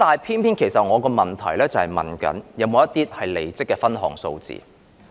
可是，我的主體質詢是問有否關於離職的分項數字。